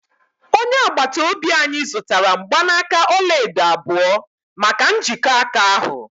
onye agbata obi anyị zụtara mgbanaka ọla edo abụọ maka njikọ aka ahụ